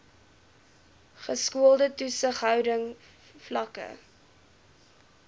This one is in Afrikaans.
geskoolde toesighouding vlakke